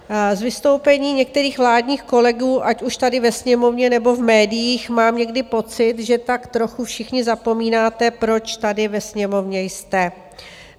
Z vystoupení některých vládních kolegů, ať už tady ve Sněmovně nebo v médiích, mám někdy pocit, že tak trochu všichni zapomínáte, proč tady ve Sněmovně jste.